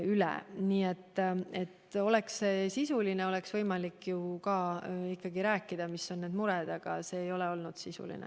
Oleks sisuline, oleks võimalik ka rääkida, mis on mured, aga see ei ole olnud sisuline.